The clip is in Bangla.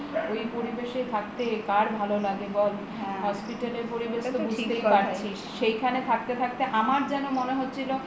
ওই পরিবেশে থাকতে কার ভালো লাগে বল hospital এর পরিবেশ তো বুঝতেই পারছিস সেইখানে থাকতে থাকতে আমার যেন মনে হচ্ছিলো